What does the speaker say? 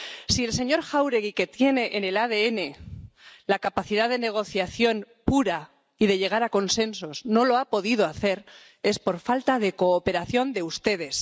Si el señor Jáuregui, que tiene en el ADN la capacidad de negociación pura y de llegar a consensos, no lo ha podido hacer, es por falta de cooperación de ustedes.